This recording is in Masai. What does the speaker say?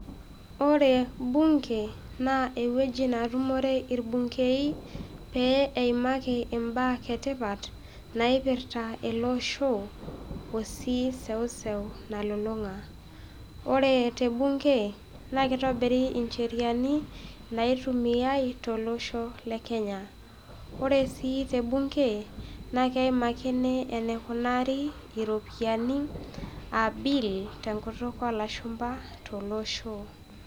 Ore mbunge naa eweji natumore irbungei pee eimaki imbaa etipat naiirta ake oshoo osii eseuseu nalulunga, ore te bunge naa keitobiri incheriani naitumiyai te loshoo lekenya, ore sii te bunge naa keimakini eneikunari iropiyiani aabill te nkutuk oloshumba to loshoo.